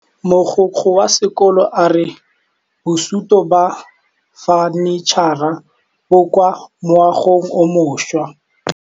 Mogokgo wa sekolo a re bosutô ba fanitšhara bo kwa moagong o mošwa.